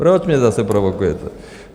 Proč mě zase provokujete?